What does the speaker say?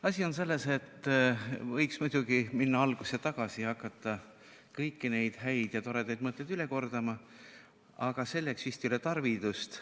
Asi on selles, et võiks muidugi minna algusesse tagasi ja hakata kõiki neid häid ja toredaid mõtteid üle kordama, aga selleks vist ei ole tarvidust.